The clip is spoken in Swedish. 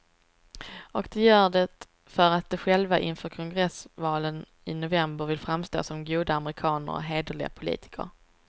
Och de gör det för att de själva inför kongressvalen i november vill framstå som goda amerikaner och hederliga politiker.